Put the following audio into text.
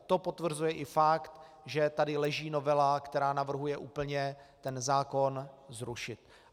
To potvrzuje i fakt, že tady leží novela, která navrhuje úplně ten zákon zrušit.